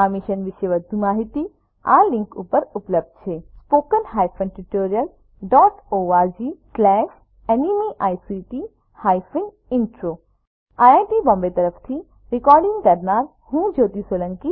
આ મિશન વિશે વધુ માહીતી આ લીંક ઉપર ઉપલબ્ધ છે httpspoken tutorialorgNMEICT Intro IIT Bombay તરફથી ભાષાંતર કરનાર હું કૃપાલી પરમાર વિદાય લઉં છું